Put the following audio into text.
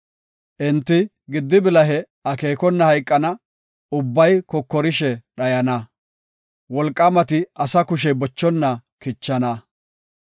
Enti gidi bilahe akeekona hayqana; ubbay kokorishe dhayana; wolqaamati asa kushey bochonna kichana.